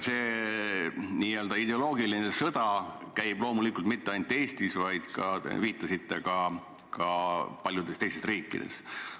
See n-ö ideoloogiline sõda ei käi loomulikult mitte ainult Eestis, vaid te viitasite, et seda on ka paljudes teistes riikides.